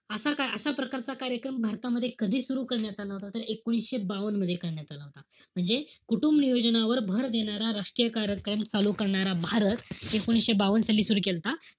असा~ असा प्रकारचा कार्यक्रम भारतामध्ये कधी सुरु करण्यात आला होता, तर एकोणीशे बावन्न मध्ये करण्यात आला होता. म्हणजे कुटुंबनियोजनावर भर देणारा राष्ट्रीय कार्यक्रम चालू करणारा भारत एकोणीशे बावन साली सुरु केलता.